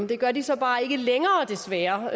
det gør vi så bare ikke længere desværre